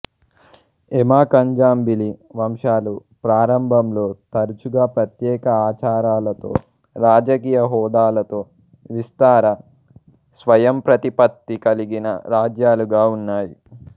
ఎమాఖండ్జాంబిలి వంశాలు ప్రారంభంలో తరచుగా ప్రత్యేక ఆచారాలతో రాజకీయ హోదాలతో విస్తార స్వయంప్రతిపత్తి కలిగిన రాజ్యాలుగా ఉన్నాయి